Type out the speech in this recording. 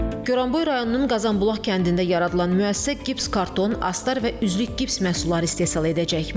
Gəranboy rayonunun Qazanbulaq kəndində yaradılan müəssisə gips karton, astar və üzlük gips məhsulları istehsal edəcək.